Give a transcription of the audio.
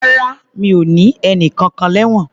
Rárá, mi o ní ẹnìkankan lẹ́wọ̀n.